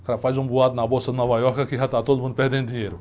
O cara faz um boato na Bolsa de Nova Iorque que já está todo mundo perdendo dinheiro.